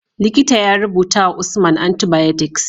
Likita ya rubutawa usman antibiotics